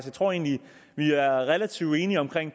jeg tror egentlig vi er relativt enige om